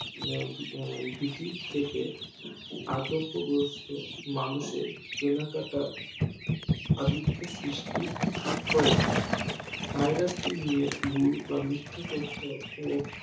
আহ ভীতি থেকে আতংক গ্রস্থ মানুষদের কিনাকাটা আদিক্ষেড সৃষ্টি হয়েছে Virus টি নিয়ে ভুল বা মিথ্যা তথ্য ও